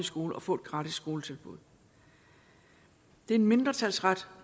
skole og få et gratis skoletilbud det er en mindretalsret